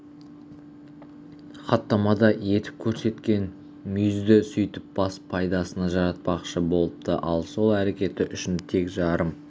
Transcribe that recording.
хаттамада етіп көрсеткен мүйізді сөйтіп бас пайдасына жаратпақшы болыпты ал сол әрекеті үшін тек жарым